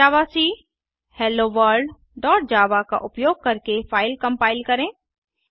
जावाक hello world dot javaका उपयोग करके फ़ाइल कम्पाइल करें